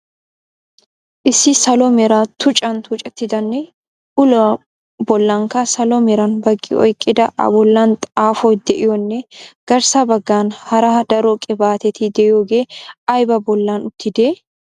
Issi salo mera tuchchan tuccettidanne uluwaa bollankka salo meran baqqi oyqqida a bollan xaafoy de"iyoonne garssa baggan hara daro qibaateti de"iyooge aybaa bollan uttidee?